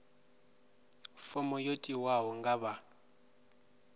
fomo yo tiwaho nga vha